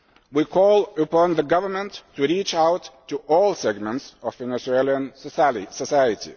We call upon the government to reach out to all segments of Venezuelan society.